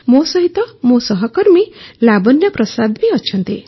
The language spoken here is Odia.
ମୋ ସହିତ ମୋ ସହକର୍ମୀ ଲାବଣ୍ୟା ପ୍ରସାଦ ଅଛନ୍ତି